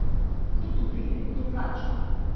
Kdo tukaj pije in kdo plača?